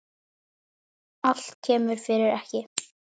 Allt kemur fyrir ekki.